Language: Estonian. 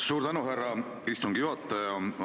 Suur tänu, härra istungi juhataja!